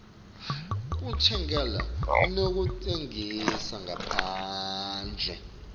kutsenga nekutsengisa ngaphandle